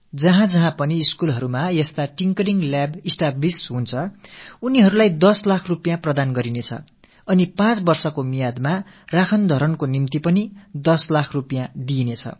எங்கெல்லாம் பள்ளிக்கூடங்களில் இப்படிப்பட்ட மெருகூட்டும் மையங்கள் நிறுவப்படுகிறதோ அங்கெல்லாம் 10 இலட்சம் ரூபாய் அளிக்கப்பட்டு 5 ஆண்டுகளில் பராமரிப்புக்காக மேலும் 10 இலட்சம் ரூபாய் அளிக்கப்படும்